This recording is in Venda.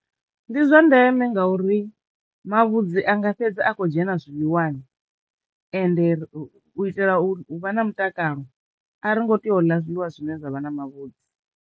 Ndi zwa ndeme ngauri mavhudzi anga fhedza a kho dzhena zwiḽiwani ende u itela u vha na mutakalo a ri ngo tea u ḽa zwiḽiwa zwine zwavha na mavhudzi.